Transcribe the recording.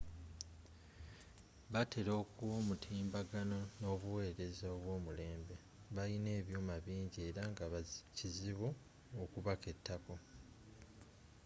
batera okuwa omutimbagano n’obuweereza obwomulembe . balina ebyuma bingi era nga kizibu okubaketako